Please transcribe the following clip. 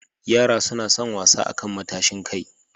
Yara suna son wasa akan matashin kai.